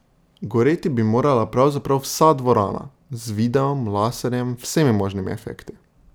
Goreti bi morala pravzaprav vsa dvorana, z videom, laserjem, vsemi možnimi efekti.